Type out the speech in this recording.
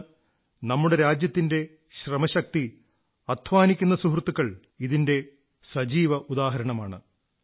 ഇന്ന് നമ്മുടെ രാജ്യത്തിന്റെ ശ്രമശക്തി അധ്വാനിക്കുന്ന സുഹൃത്തുക്കൾ ഇതിന്റെ സജീവ ഉദാഹരണമാണ്